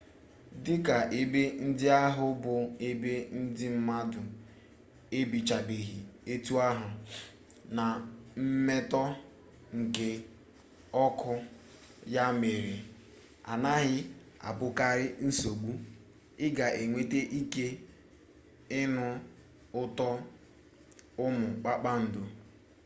dika ebe ndị ahụ bụ ebe ndị mmadụ ebichabeghị etu ahụ na mmetọ nke ọkụ ya mere anaghị abụkarị nsogbu ị ga-enwekwa ike ịnụ ụtọ ụmụ kpakpando